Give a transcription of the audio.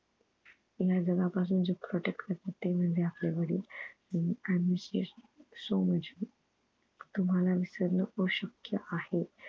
पुऱ्या जगा पासून जे protect करतात ते म्हणजे आपले वडील आणि i miss you so much तुम्हाला विसरणं अशक्य आहे